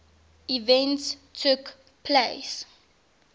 events took place